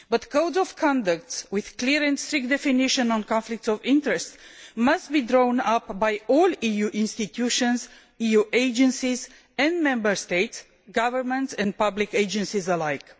Codes of conduct with a clear and strict definition of conflicts of interest must be drawn up by all EU institutions, EU agencies and Member State governments and public agencies alike.